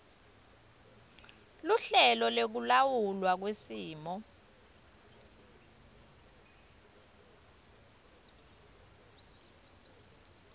luhlelo lwekulawulwa kwesimo